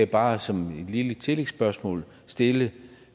bare som et lille tillægsspørgsmål stille